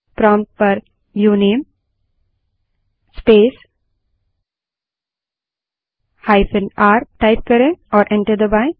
prompt पर उनमे space hyphen r type करें और एंटर दबायें